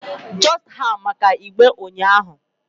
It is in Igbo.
just ha maka igbe unyahu ahu